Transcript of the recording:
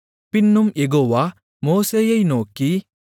பின்னும் யெகோவா மோசேயை நோக்கி